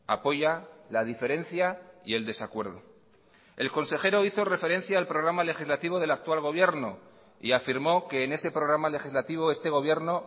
apoya la diferencia y el desacuerdo el consejero hizo referencia al programa legislativo del actual gobierno y afirmó que en ese programa legislativo este gobierno